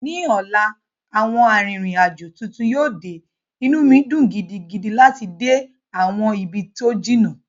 Ní ọ̀la, àwọn arìnrìn-àjò tuntun yíò de, inú mi dùn gidigidi láti dé àwọn ibi tó jìnnà